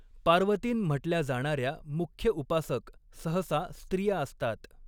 पार्वतीन म्हटल्या जाणाऱ्या मुख्य उपासक सहसा स्त्रिया असतात.